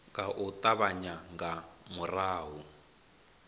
nga u ṱavhanya nga murahu